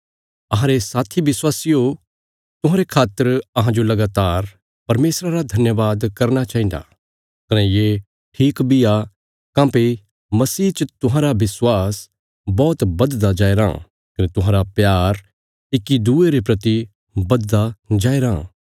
अहांरे साथी विश्वासियो तुहांरे खातर अहांजो लगातार परमेशरा रा धन्यवाद करना चाहिन्दा कने ये ठीक बी आ काँह्भई मसीह च तुहांरा विश्वास बौहत बधदा जाया राँ कने तुहांरा प्यार इक्की दूये रे प्रति बधदा जाया राँ